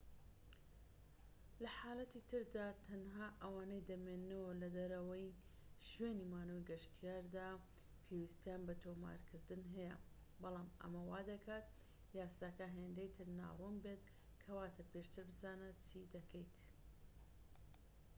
لە حاڵەتی تردا تەنها ئەوانەی دەمێننەوە لەدەرەوەی شوێنی مانەوەی گەشتیاردا پێویستیان بە تۆمارکردن هەیە بەڵام ئەمە وادەکات یاساکە هێندەی تر ناڕوون بێت کەواتە پێشتر بزانە چی دەکەیت